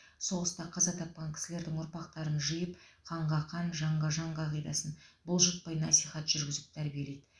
соғыста қаза тапқан кісілердің ұрпақтарын жиып қанға қан жанға жан қағидасын бұлжытпай насихат жүргізіп тәрбиелейді